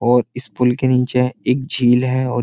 और इस पुल के नीचे एक झील है और --